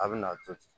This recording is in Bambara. A bɛ na to ten